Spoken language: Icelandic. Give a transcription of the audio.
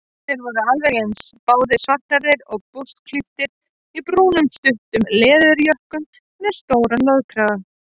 Þeir voru alveg eins, báðir svarthærðir og burstaklipptir í brúnum stuttum leðurjökkum með stórum loðkrögum.